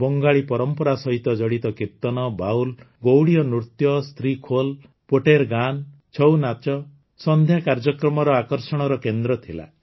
ବଙ୍ଗାଳୀ ପରମ୍ପରା ସହ ଜଡ଼ିତ କୀର୍ତନ ବାଉଲ୍ ଗୌଡୀୟ ନୃତ୍ୟ ସ୍ତ୍ରୀଖୋଲ ପୋଟେର୍ ଗାନ୍ ଛଉନାଚ ସନ୍ଧ୍ୟା କାର୍ଯ୍ୟକ୍ରମର ଆକର୍ଷଣର କେନ୍ଦ୍ର ଥିଲା